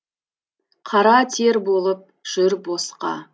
қара тер болып жүр босқа